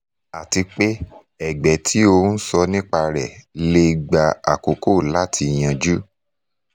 àti pé ẹ̀gbẹ́ tí o ń sọ nípa rẹ̀ lè gba àkókò láti yanjú